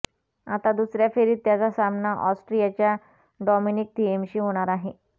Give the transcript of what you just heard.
आता दुसऱ्या फेरीत त्याचा सामना ऑस्ट्रियाच्या डॉमिनिक थिएमशी होणार आहे